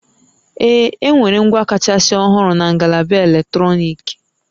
Ee, enwere ngwa kachasị ọhụrụ na ngalaba eletrọnịkị